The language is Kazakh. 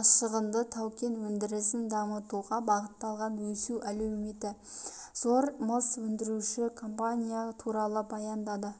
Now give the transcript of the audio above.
азшығынды тау-кен өндірісін дамытуға бағытталған өсу әлеуеті зор мыс өндіруші компания туралы баяндады